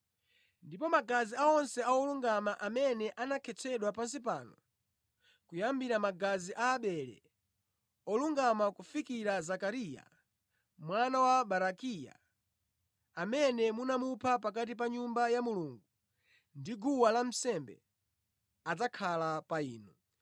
Ndipo magazi onse a olungama amene anakhetsedwa pansi pano, kuyambira magazi a Abele, olungama kufikira Zakariya mwana wa Barakiya, amene munamupha pakati pa Nyumba ya Mulungu ndi guwa lansembe, adzakhala pa inu.